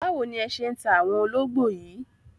Báwo ni ẹ ṣé ń ta àwọn ológbò yìí?